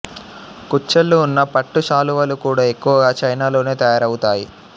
కుచ్చెళ్ళు ఉన్న పట్టు శాలువాలు కూడా ఎక్కువగా చైనాలోనే తయారవుతాయి